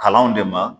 Kalanw de ma